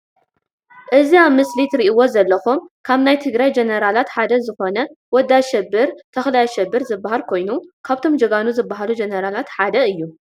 እዚ ኣብ ምስሊ ትርኢዎ ዘለኩም ካብ ናይ ትግራይ ጀነራላት ሓደ ዝኮነ ወዲ ኣሸብር ተክላይ ኣሸብር ዝባሃል ኮይኑ ካብቶም ጀጋኑ ዝባሃሉ ጀነራላት ሓደ እዩ።